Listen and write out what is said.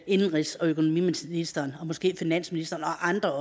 indenrigs og økonomiministeren og måske også finansministeren og andre